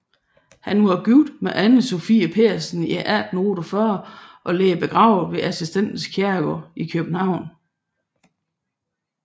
Han var gift med Ane Sophie Pedersen i 1848 og ligger begravet på Assistens Kirkegård i København